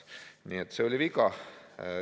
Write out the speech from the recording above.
Nii et see oli viga.